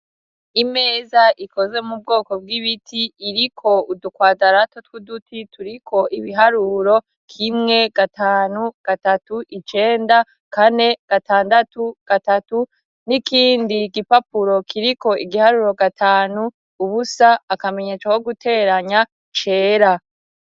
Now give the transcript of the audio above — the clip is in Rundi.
Imeza ikoze mu bwoko bw'ibiti, iriko udukwadarato tw'uduti turiko ibiharuro k'imwe, gatanu, gatatu, icenda, kane gatandatu, gatatu, n'ikindi gipapuro kiriko igiharuro gatanu, ubusa, akamenyesa ko guteranya, cera.